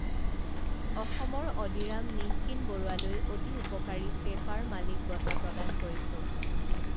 অসমৰ অডিৰাম নিঃকিন বৰুৱালৈ অতি উপকাৰী পেপাৰ মালিক বঁটা প্ৰদান কৰিছো